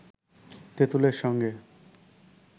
তেতুঁলের সঙ্গে